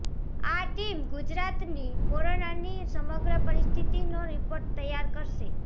આ ટીમ ગુજરાતની કોરોનાની સમગ્ર પરિસ્થિતિનો રિપોર્ટ તૈયાર કરશે